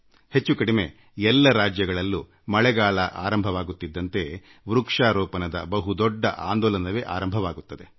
ಹೆಚ್ಚು ಕಡಿಮೆ ಎಲ್ಲ ರಾಜ್ಯಗಳಲ್ಲೂ ಮಳೆಗಾಲ ಆರಂಭವಾಗುತ್ತಿದ್ದಂತೆ ಸಸಿ ನೆಡುವ ದೊಡ್ಡ ಆಂದೋಲನವೇ ಶುರುವಾಗುತ್ತದೆ